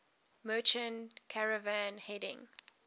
merchant caravan heading